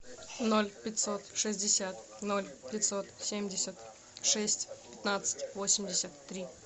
ноль пятьсот шестьдесят ноль пятьсот семьдесят шесть пятнадцать восемьдесят три